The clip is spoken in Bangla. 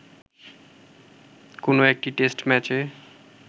কোন একটি টেস্ট ম্যাচে